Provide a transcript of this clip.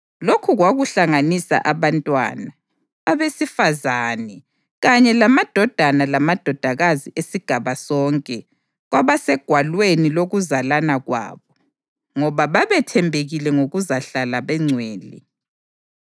Lokhu kwakuhlanganisa abantwana, abesifazane kanye lamadodana lamadodakazi esigaba sonke kwabasegwalweni lokuzalana kwabo. Ngoba babethembekile ngokuzahlala bengcwele.